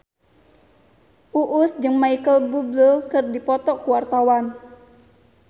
Uus jeung Micheal Bubble keur dipoto ku wartawan